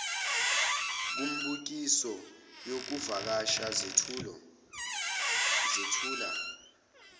kumibukiso yokuvakasha zethula